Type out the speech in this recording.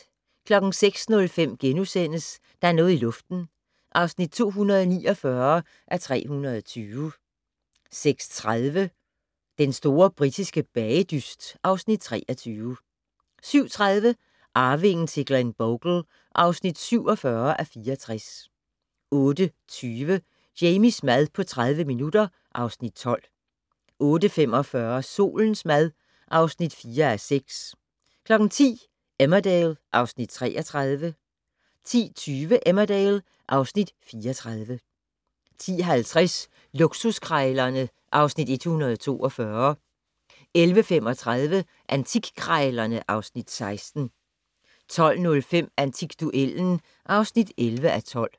06:05: Der er noget i luften (249:320)* 06:30: Den store britiske bagedyst (Afs. 23) 07:30: Arvingen til Glenbogle (47:64) 08:20: Jamies mad på 30 minutter (Afs. 12) 08:45: Solens mad (4:6) 10:00: Emmerdale (Afs. 33) 10:20: Emmerdale (Afs. 34) 10:50: Luksuskrejlerne (Afs. 142) 11:35: Antikkrejlerne (Afs. 16) 12:05: Antikduellen (11:12)